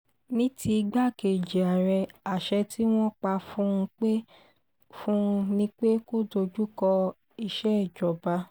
ní ti igbákejì àárẹ̀ àṣẹ tí wọ́n pa fún un ni pé kó dojú kọ ìṣèjọba